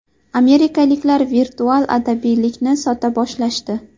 Amerikaliklar virtual abadiylikni sota boshlashdi.